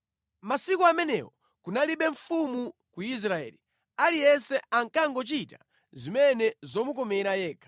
Masiku amenewo kunalibe mfumu ku Israeli. Aliyense ankangochita zimene zomukomera yekha.